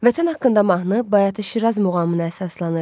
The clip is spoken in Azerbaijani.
Vətən haqqında mahnı Bayatı-Şiraz muğamına əsaslanır.